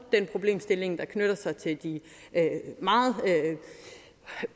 den problemstilling der knytter sig til de meget